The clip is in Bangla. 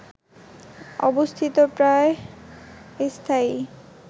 অবস্থিত প্রায় স্থায়ী